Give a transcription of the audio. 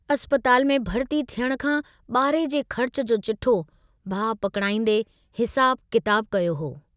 अस्पताल में भर्ती थियण खां बारहे जे ख़र्च जो चिठ्ठो भाउ पकड़ाईंदे हिसाबु किताबु कयो हो।